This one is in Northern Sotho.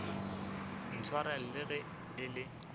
ntshwarela le ge e le